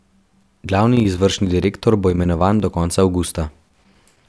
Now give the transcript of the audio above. Glavni izvršni direktor bo imenovan do konca avgusta.